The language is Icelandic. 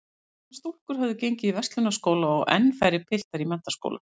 Nokkrar stúlkur höfðu gengið á Verslunarskóla og enn færri piltar í menntaskóla.